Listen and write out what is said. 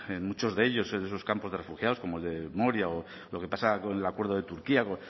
en muchos de ellos en muchos campos de refugiados como el de moria o lo que pasa con el acuerdo de turquía